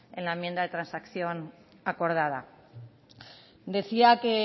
en la enmienda de transacción acordada decía que